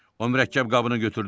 O mürəkkəb qabını götürdü.